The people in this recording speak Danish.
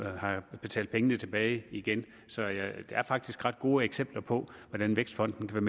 har betalt pengene tilbage igen så der er faktisk nogle ret gode eksempler på hvordan vækstfonden kan